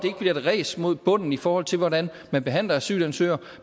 bliver et ræs mod bunden i forhold til hvordan man behandler asylansøgere